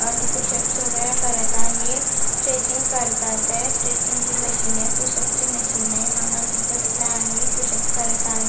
आणि पुशप वगेरा करत आहे स्ट्रेचिंग करतायेत स्ट्रेचिंग ची मशीन आहे पुशप ची मशीन आहे हा माणुस बसला आहे पुशप करत आहे.